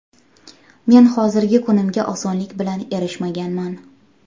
Men hozirgi kunimga osonlik bilan erishmaganman.